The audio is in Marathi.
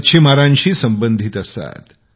मच्छीमारांशी संबंधित असतात